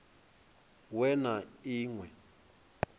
we na i ṅ we